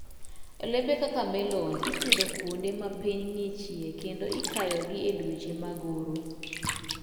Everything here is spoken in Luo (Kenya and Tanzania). Olembe kaka melon ipidho kuonde ma piny ng'ichie kendo ikayoga e dweche mag oro.